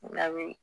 Labi